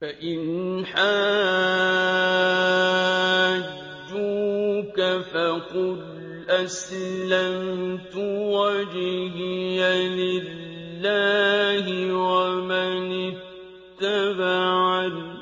فَإِنْ حَاجُّوكَ فَقُلْ أَسْلَمْتُ وَجْهِيَ لِلَّهِ وَمَنِ اتَّبَعَنِ ۗ